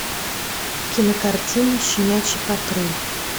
кинокартина щенячий патруль